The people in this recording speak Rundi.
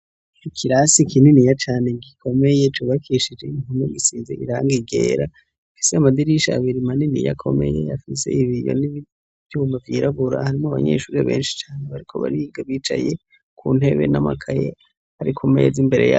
Ikirasi kininiya cane gikomeye cubakishije inkingi zisize irangi ryera ifise amadirisha abiri maniniya akomeye afise ibiyo n'ivyuma vyirabura harimwo abanyeshure benshi cane bariko bariga bicaye kuntebe n'amakaye ari kumez'imbere yabo.